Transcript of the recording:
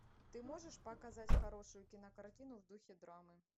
ты можешь показать хорошую кинокартину в духе драмы